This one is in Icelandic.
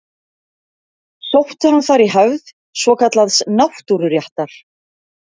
Sótti hann þar í hefð svokallaðs náttúruréttar.